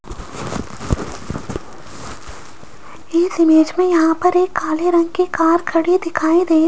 इस इमेज में यहां पर एक काले रंग की कार खड़ी दिखाई दे --